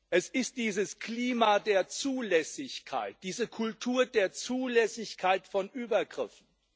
Es ist dieses Klima der Zulässigkeit, diese Kultur der Zulässigkeit von Übergriffen.